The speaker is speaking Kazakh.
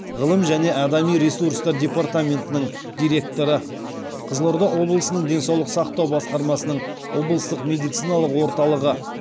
ғылым және адами ресурстар департаментінің директоры қызылорда облысының денсаулық сақтау басқармасының облыстық медициналық орталығы